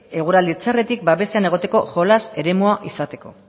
eguraldi txarretik babesean egoteko jolas eremua izateko